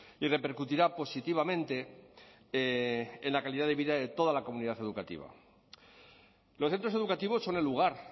y repercutirá positivamente en la calidad de vida de toda la comunidad educativa los centros educativos son el lugar